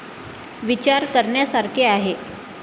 ' विचार करण्यासारखे आहे '